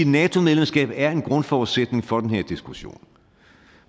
nato medlemskabet er en grundforudsætning for den her diskussion